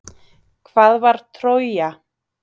Hvað var Trója?